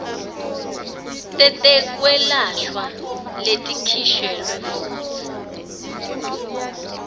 tetekwelashwa letikhishwe futsi